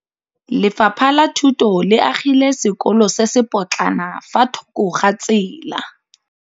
Lefapha la Thuto le agile sekôlô se se pôtlana fa thoko ga tsela.